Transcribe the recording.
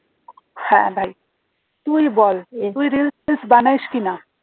হ্যাঁ ভাই তুই বল তুই reels ফিলস বানাস কিনা